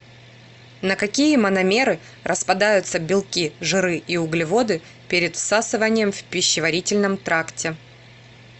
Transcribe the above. на какие мономеры распадаются белки жиры и углеводы перед всасыванием в пищеварительном тракте